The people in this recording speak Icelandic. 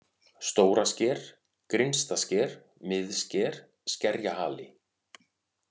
Stórasker, Grynnstasker, Miðsker, Skerjahali